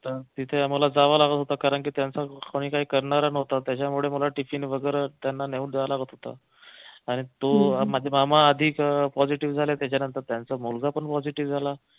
अं तिथे आम्हाला जावं लागत होत कारंकी त्यांचं कोणी काही करणार नव्हतं त्याच्यामुळे मला tiffin वगैरे त्यांना नेऊन द्यायला लागत होत आणि ते म्हणजे माझे मामा आधी positive झाले त्याच्यानंतर त्यांचा मुलगा पण positive झाला